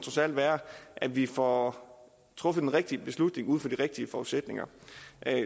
være at vi får truffet den rigtige beslutning ud fra de rigtige forudsætninger